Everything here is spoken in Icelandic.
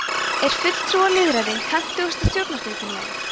er fulltrúalýðræði hentugasta stjórnarfyrirkomulagið